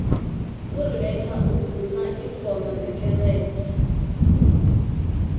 urebecca umvuma ingoma zekerenge